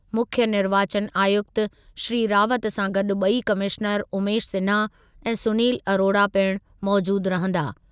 मुख्यु निर्वाचन आयुक्त श्री रावत सां गॾु ॿई कमिशनर उमेश सिन्हा ऐं सुनील अरोरा पिणु मौजूदु रहंदा।